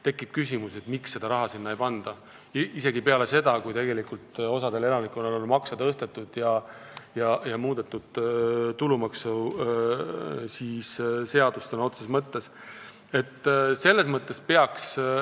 Tekib küsimus, miks sinna raha ei panda – isegi mitte peale seda, kui osal elanikel on makse tõstetud ja tulumaksuseadust sõna otseses mõttes muudetud.